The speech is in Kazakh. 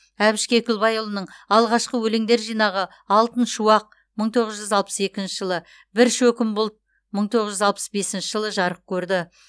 әбіш кекілбайұлының алғашқы өлеңдер жинағы алтын шуақ мың тоғыз жүз алпыс екінші жылы бір шөкім бұлт мың тоғыз жүз алпыс бесінші жылы жарық көрді